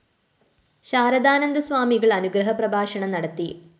ശാരദാനന്ദ സ്വാമികള്‍ അനുഗ്രഹ പ്രഭാഷണം നടത്തി